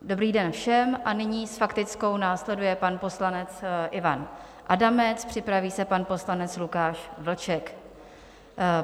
Dobrý den všem a nyní s faktickou následuje pan poslanec Ivan Adamec, připraví se pan poslanec Lukáš Vlček.